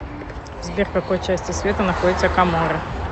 сбер в какой части света находится коморы